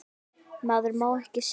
Maður má ekkert segja.